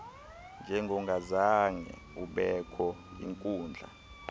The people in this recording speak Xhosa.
njengongazange ubekho yinkundla